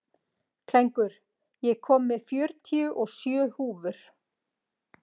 Klængur, ég kom með fjörutíu og sjö húfur!